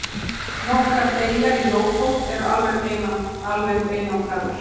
Nokkrar eyjar í Lófót eru alveg einangraðar.